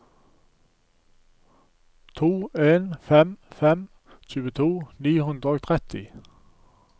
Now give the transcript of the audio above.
to en fem fem tjueto ni hundre og tretti